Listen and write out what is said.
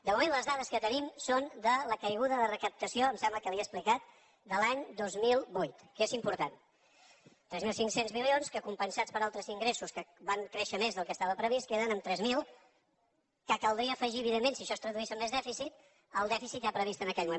de moment les dades que tenim són de la caiguda de recaptació em sembla que li ho he explicat de l’any dos mil vuit que és important tres mil cinc cents milions que compensats per altres ingressos que van créixer més del que estava previst queden en tres mil que caldria afegir evidentment si això es traduís en més dèficit al dèficit ja previst en aquell moment